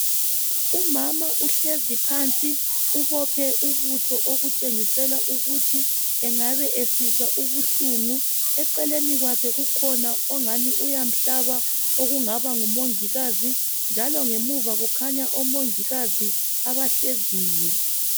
Umama uhlezi phansi ubophe ubuso okutshengisela ukuthi engabe esizwa ubuhlungu eceleni kwakhe kukhona ongani uyamhlaba okungaba ngumongikazi njalo ngemuva kukhanya omongikazi abahleziyo.